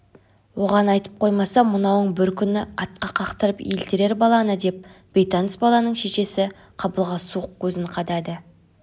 оған айтып қоймаса мынауың бір күні атқа қақтырып елтірер баланы деп бейтаныс баланың шешесі қабылға суық көзін қадады